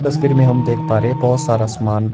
तस्वीर में हम देख पा रहे हैं बहोत सारा सामान--